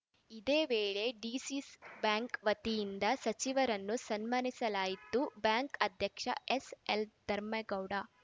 ಇದೇ ವೇಳೆ DCC bank ವತಿಯಿಂದ ಸಚಿವರನ್ನು ಸನ್ಮಾನಿಸಲಾಯಿತು ಬ್ಯಾಂಕ್‌ ಅಧ್ಯಕ್ಷ ಎಸ್‌ಎಲ್‌ಧರ್ಮೇಗೌಡ